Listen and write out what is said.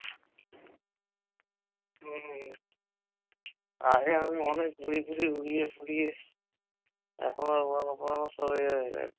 আগে আমি অনেক ঘুড়ি টুরি উড়িয়ে ফুরিয়ে এখন আর ওড়ানো ফোড়ানো সব এ হয়ে গেছে